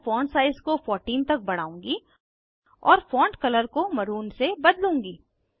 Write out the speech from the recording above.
मैं font size को 14 तक बढ़ाउंगी और फॉन्ट कलर को मरून से बदलूंगी